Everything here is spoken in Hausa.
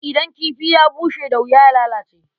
Idan kifi bushe da wuya ya lalace.